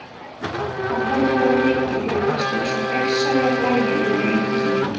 Hann horfir á rykið leggjast eins og gegnsæja blæju yfir engin.